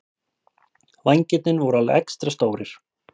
Vængirnir voru alveg extra stórir.